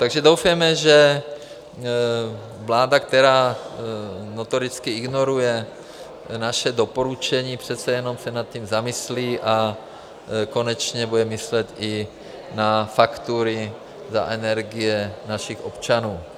Takže doufejme, že vláda, která notoricky ignoruje naše doporučení, přece jenom se nad tím zamyslí a konečně bude myslet i na faktury za energie našich občanů.